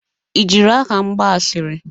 I jiri aha m gba asịrị?